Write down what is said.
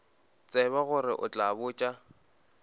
tsebe gore o tla botša